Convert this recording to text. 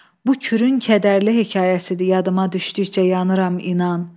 Bu kürün kədərli hekayəsidir, yadıma düşdükcə yanıram, inan.